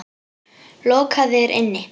Lokaðir inni?